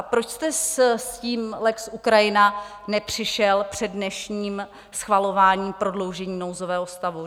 A proč jste s tím lex Ukrajina nepřišel před dnešním schvalováním prodloužení nouzového stavu?